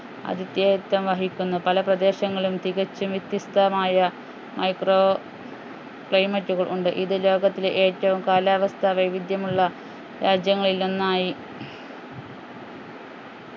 ആതിഥേയത്വം വഹിക്കുന്നു പല പ്രദേശങ്ങളും തികച്ചും വ്യത്യസ്തമായ micro climate കൾ ഉണ്ട് ഇത് ലോകത്തിലെ ഏറ്റവും കാലാവസ്ഥ വൈവിധ്യം ഉള്ള രാജ്യങ്ങളിൽ ഒന്നായി